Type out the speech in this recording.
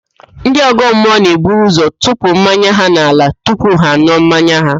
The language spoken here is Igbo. Ndị ọ̀gọ́mmụọ na-eburu ụzọ tụpụ mmanya n'ala tupu ha an̄ụọ mmanya ha